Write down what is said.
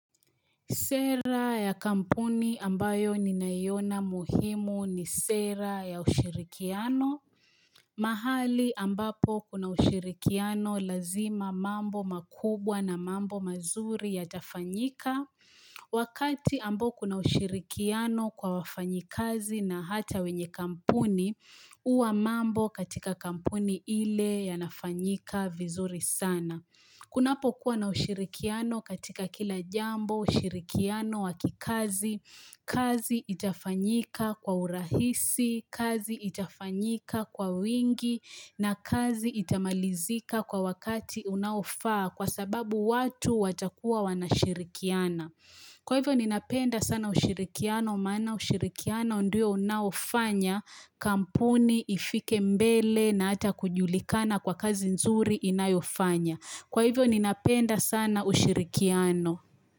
Sera ya kampuni ambayo ninaiona muhimu ni sera ya ushirikiano. Mahali ambapo kuna ushirikiano lazima mambo makubwa na mambo mazuri yatafanyika. Wakati ambao kuna ushirikiano kwa wafanyikazi na hata wenye kampuni, huwa mambo katika kampuni ile yanafanyika vizuri sana. Kunapokuwa na ushirikiano katika kila jambo ushirikiano wakikazi, kazi itafanyika kwa urahisi, kazi itafanyika kwa wingi na kazi itamalizika kwa wakati unaofaa kwa sababu watu watakuwa wanashirikiana. Kwa hivyo ninapenda sana ushirikiano maana ushirikiano ndio unaofanya kampuni ifike mbele na hata kujulikana kwa kazi nzuri inayofanya. Kwa hivyo ninapenda sana ushirikiano.